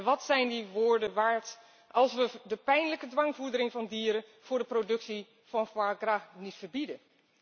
Wat zijn die woorden waard als wij de pijnlijke dwangvoedering van dieren voor de productie van foie gras niet verbieden?